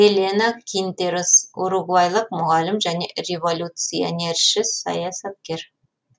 элена кинтерос уругвайлық мұғалім және революционерші саясаткер